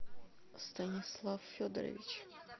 станислав федорович